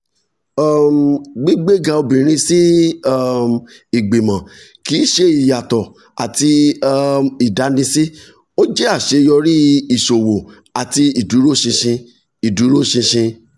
um gbígbéga obìnrin sí um ìgbìmọ̀ kì í ṣe ìyàtọ̀ àti um ìdánisí; ó jẹ́ àṣeyọrí ìṣòwò àti ìdúróṣinṣin. ìdúróṣinṣin.